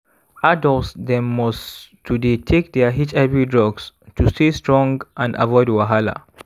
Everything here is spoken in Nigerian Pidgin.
adults dem must to dey take their hiv drugs to stay strong and avoid wahala